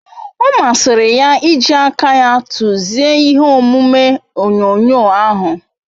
O masiri ya iji aka ya tuzie ihe omume onyonyo ahu